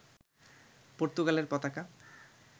পর্তুগালের পতাকা